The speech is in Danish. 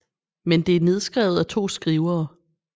Men det er nedskrevet af to skrivere